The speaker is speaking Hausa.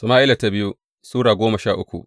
biyu Sama’ila Sura goma sha uku